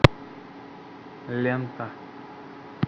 лента